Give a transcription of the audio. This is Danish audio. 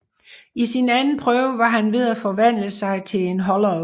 I sin anden prøve var han ved at forvandle sig til en hollow